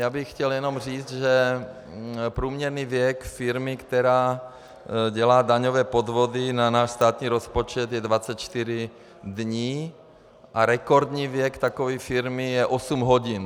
Já bych chtěl jenom říci, že průměrný věk firmy, která dělá daňové podvody na náš státní rozpočet, je 24 dní a rekordní věk takové firmy je 8 hodin.